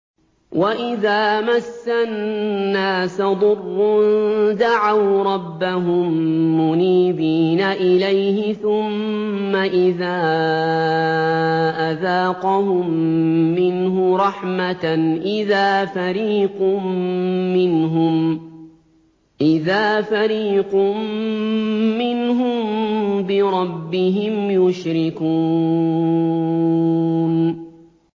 وَإِذَا مَسَّ النَّاسَ ضُرٌّ دَعَوْا رَبَّهُم مُّنِيبِينَ إِلَيْهِ ثُمَّ إِذَا أَذَاقَهُم مِّنْهُ رَحْمَةً إِذَا فَرِيقٌ مِّنْهُم بِرَبِّهِمْ يُشْرِكُونَ